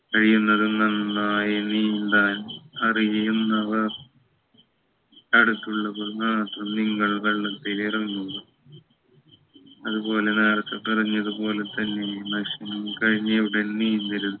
കഴിയുന്നതും നന്നായി നീന്താൻ അറിയുന്നവർ അടുത്തുള്ളപ്പോൾ മാത്രം നിങ്ങൾ വെള്ളത്തിൽ ഇറങ്ങുക അതുപോലെ നേരത്തെ പറഞ്ഞത് പോലെ തന്നെ ഭക്ഷണം കഴിഞ്ഞ ഉടനെ നീന്തരുത്